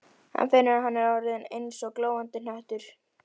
Hann finnur að hann er orðinn eins og glóandi hnöttur.